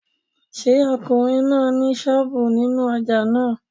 Ṣé ọkùnrin náà ni sọ́ọ̀bù nínú ojà náà?